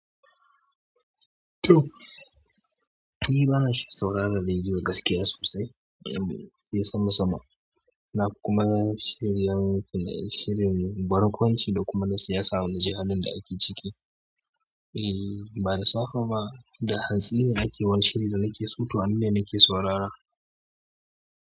To ni bana sauraron rediyo gaskiya sosai da yamma dai sai sama sama, na kuma shirin barkwancin da kuma siyasa na ji halin da ake ciki. Eh ba da safa ba, da hantsi ne ake wani shiri da nake so to a nan ne nake saurara.